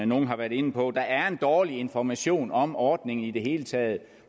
nogle har været inde på der er en dårlig information om ordningen i det hele taget